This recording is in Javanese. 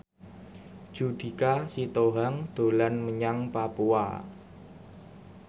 Judika Sitohang dolan menyang Papua